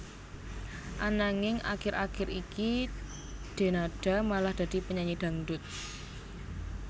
Ananging akir akir iki Denada malah dadi penyanyi dangdut